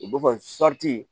U b'o fɔ